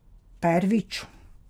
Pervič.